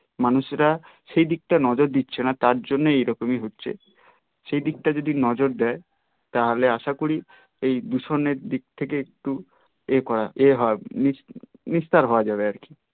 মানুষেরা সেই দিকটা নজর দিচ্ছে না তার জন্যে এই রকমই হচ্ছে সেই দিকটাই যদি নজর দেয় তা হলে আশা করি এই দূষণের দিক থেকে একটু এ করা নিস্তার হওয়া যাবে আর কি